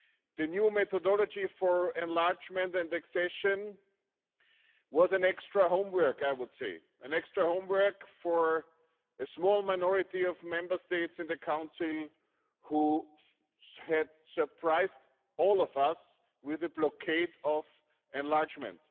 The new methodology for enlargement and accession was an extra homework, I would say, an extra homework for a small minority of Member States in the Council who had surprised all of us with the blockade of enlargement.